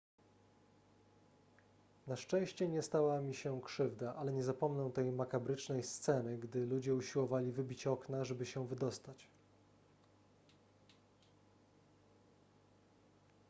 na szczęście nie stała mi się krzywda ale nie zapomnę tej makabrycznej sceny gdy ludzie usiłowali wybić okna żeby się wydostać